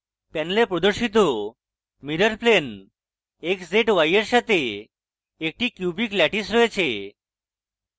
panel প্রদর্শিত mirrorplane x z y এর সাথে একটি cubic ল্যাটিস রয়েছে